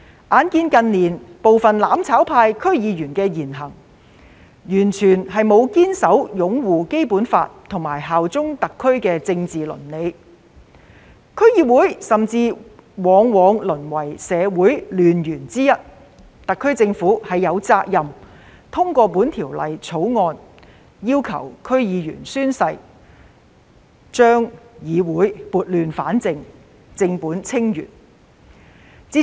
鑒於近年部分"攬炒派"區議員的言行，完全沒有堅守擁護《基本法》及效忠特區的政治倫理，區議會甚至往往淪為社會亂源之一，特區政府實在有責任通過《條例草案》要求區議員宣誓，將議會撥亂反正，正本清源。